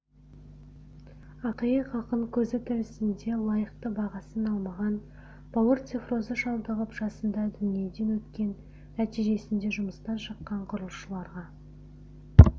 ақиық ақын көзі тірісінде лайықты бағасын алмаған бауыр циррозы шалдығып жасында дүниеден өткен нәтижесінде жұмыстан шыққан құрылысшыларға